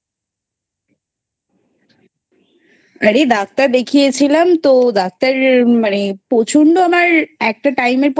আরে ডাক্তার দেখিয়ে ছিলাম তো ডাক্তার মানে প্রচন্ড আমার একটা Time এর